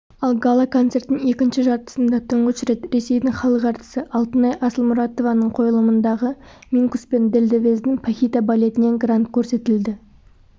ал гала-концерттің екінші жартысында тұңғыш рет ресейдің халық әртісі алтынай асылмұратованың қойылымындағы минкус пен дельдевездің пахита балетінен грант көрсетілді